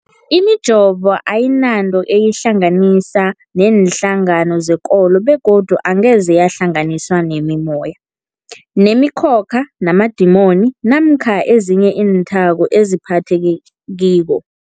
Imijovo ayinanto eyihlanganisa neenhlangano zekolo begodu angeze yahlanganiswa nemimoya, nemi khokha, namadimoni namkha ezinye iinthako ezingaphathekiko.